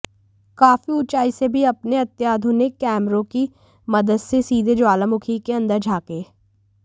काफी ऊंचाई से भी अपने अत्याधुनिक कैमरों की मदद से सीधे ज्वालामुखी के अंदर झांक